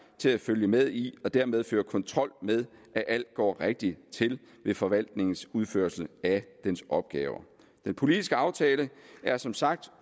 til at følge med i og dermed føre kontrol med at alt går rigtigt til ved forvaltningens udførelse af dens opgaver den politiske aftale er som sagt